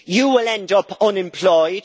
You will end up unemployed